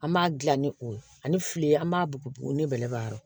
An b'a dilan ni o ye ani fili an b'a bugu ne bɛla yɔrɔ